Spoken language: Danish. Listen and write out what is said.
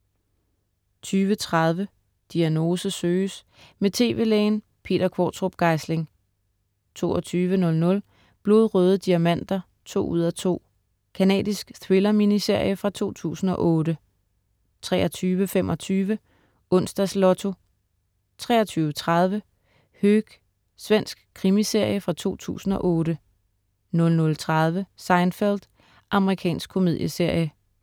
20.30 Diagnose søges. Med tv-lægen Peter Qvortrup Geisling 22.00 Blodrøde diamanter 2:2. Canadisk thriller-miniserie fra 2008 23.25 Onsdags Lotto 23.30 Höök. Svensk krimiserie fra 2008 00.30 Seinfeld. Amerikansk komedieserie